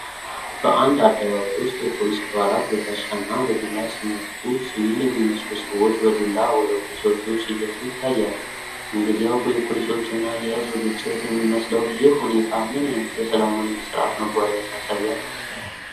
በአንድ አደባባይ ውስጥ፣ የፖሊስ አባላት በጋሻና በዱላ ሲመክቱ፣ ሲቪል የሚመስሉ ሰዎች በዱላ ወደ ፖሊሶች ሲገፉ ይታያሉ፤ እንግዲያው፣ የፖሊሶችና የሕዝብ ግጭት የሚመስለው ይህ ሁኔታ ምን ዓይነት የሰላም ወይም የሥርዓት መጓደልን ያሳያል?